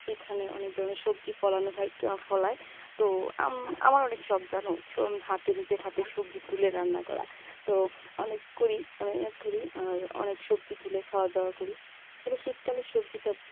সেখানে অনেক ধরনের সবজি ফলানো হয় ফলায় তো আম~ আমার অনেক শখ জানো, হাতে নিজের হাতে সবজি তুলে রান্না করা তো অনেক করি করি অনেক আর সবজি তুলে খাওয়া দাওয়া করি আসলে শীতকালের সবজিটা